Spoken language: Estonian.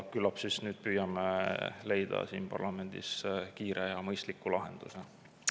Küllap siis püüame nüüd leida siin parlamendis kiire ja mõistliku lahenduse.